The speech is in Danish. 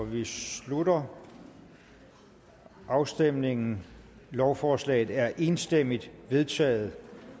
vi slutter afstemningen lovforslaget er enstemmigt vedtaget